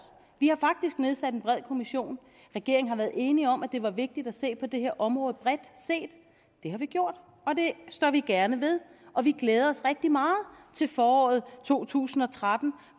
vi har faktisk nedsat en bred kommission regeringen har været enig om at det var vigtigt at se på det her område bredt set det har vi gjort og det står vi gerne ved og vi glæder og rigtig meget til foråret to tusind og tretten